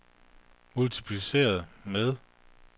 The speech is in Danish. multipliceret med